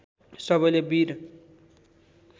सबैले वीर